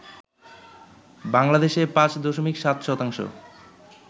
বাংলাদেশে ৫ দশমিক ৭ শতাংশ